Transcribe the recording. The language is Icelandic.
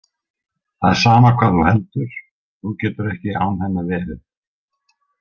Það er sama hvað þú heldur, þú getur ekki án hennar verið.